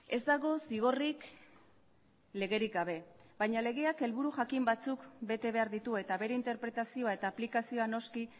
ez dago zigorrik legerik gabe baina legeak helburu jakin batzuk bete behar ditu eta bere interpretazioa eta aplikazioa noski